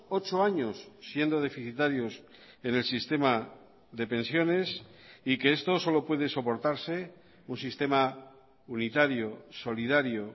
ocho años siendo deficitarios en el sistema de pensiones y que esto solo puede soportarse un sistema unitario solidario